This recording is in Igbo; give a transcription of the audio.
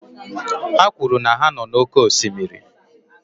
Ha kwuru na ha nọ n'oké osimiri